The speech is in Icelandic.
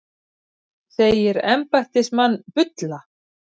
Segir embættismann bulla